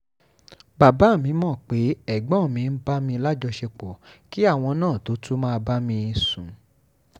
bàbá mi mọ̀ pé ẹ̀gbọ́n mi ń bá mi lájọṣepọ̀ kí àwọn náà tóo tún máa bá mi sùn